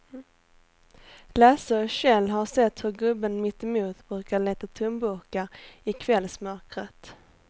Lasse och Kjell har sett hur gubben mittemot brukar leta tomburkar i kvällsmörkret.